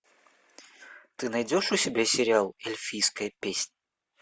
ты найдешь у себя сериал эльфийская песнь